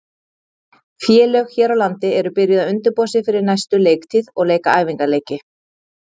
Félög hér á landi eru byrjuð að undirbúa sig fyrir næstu leiktíð og leika æfingaleiki.